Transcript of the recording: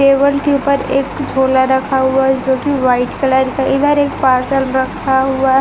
table के ऊपर एक झोला रखा हुआ है जो कि व्हाइट कलर का इधर एक पार्सल रखा हुआ --